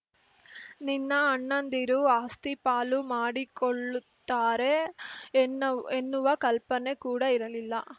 ನಿನ್ನ ಅಣ್ಣಂದಿರು ಆಸ್ತಿ ಪಾಲು ಮಾಡಿಕೊಳ್ಳುತ್ತಾರೆ ಎನ್ನುವ ಕಲ್ಪನೆ ಕೂಡ ಇರಲಿಲ್ಲ